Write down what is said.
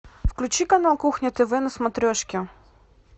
включи канал кухня тв на смотрешке